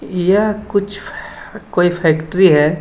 यह कुछ कोई फैक्ट्री है।